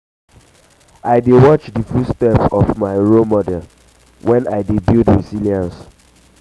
i dey watch di footstep of um my um role model when i dey build resilience.